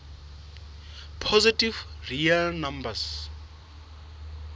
positive real numbers